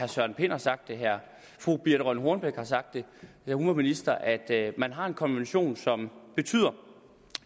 søren pind har sagt det her fru birthe rønn hornbech har sagt det da hun var minister at man har en konvention som betyder